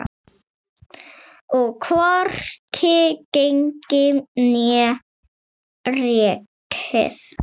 Og hvorki gengið né rekið.